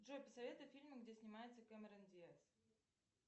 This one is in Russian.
джой посоветуй фильмы где снимается кэмерон диаз